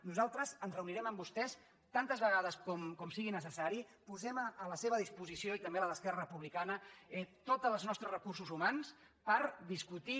nosaltres ens reunirem amb vostès tantes vegades com sigui necessari posem a la seva disposició i també a la d’esquerra republicana tots els nostres recursos humans per discutir